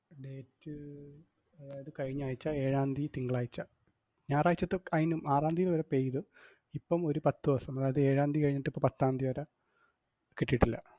Date അതായത് കഴിഞ്ഞാഴ്ച, എഴാംതീയ് തിങ്കളാഴ്ച. ഞാറാഴ്ചത്തെ കഴിഞ്ഞും ആറാംതീയ് വരെ pay ചെയ്തു, ഇപ്പം ഒരു പത്തു ദിവസം, അതായത് എഴാംതീയ് കഴിഞ്ഞിട്ട് ഇപ്പം പത്താംതീയ് വരെ കിട്ടീട്ടില്ല.